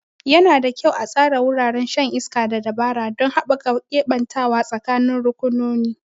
Yana da kyau a tsara wuraren shan iska da dabara don haɓaka keɓantawa tsakanin rukunonin.